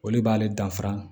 O de b'ale danfara